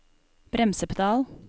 bremsepedal